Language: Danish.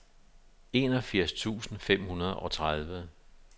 enogfirs tusind fem hundrede og tredive